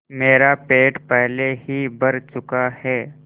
मेरा पेट पहले ही भर चुका है